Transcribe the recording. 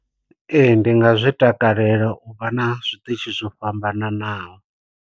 Ee ndi nga zwi takalela u vha na zwiṱitshi zwo fhambananaho.